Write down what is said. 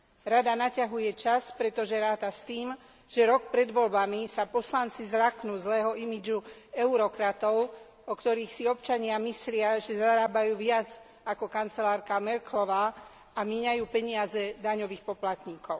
Rada naťahuje čas, pretože ráta s tým, že rok pred voľbami sa poslanci zľaknú zlého imidžu eurokratov, o ktorých si občania myslia, že zarábajú viac ako kancelárka Merkelová a míňajú peniaze daňových poplatníkov.